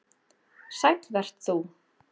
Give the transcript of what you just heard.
Sæll vert þú